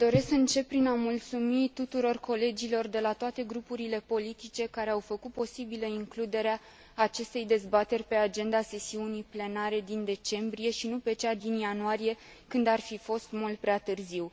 Doresc să încep prin a mulțumi tuturor colegilor, de la toate grupurile politice, care au făcut posibilă includerea acestei dezbateri pe agenda sesiunii plenare din decembrie și nu pe cea din ianuarie, când ar fi fost mult prea târziu.